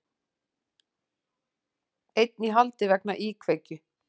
Einn í haldi vegna íkveikju